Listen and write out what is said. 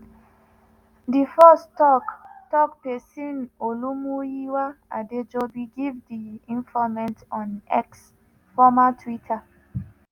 di force tok-tok pesin olumuyiwa adejobi give di informate on x (former twitter).